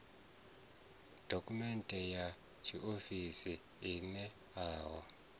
dokhumenthe ya tshiofisi i ṋeaho